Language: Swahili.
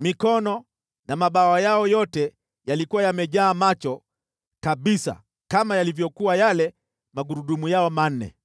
mikono na mabawa yao yote yalikuwa yamejaa macho kabisa kama yalivyokuwa yale magurudumu yao manne.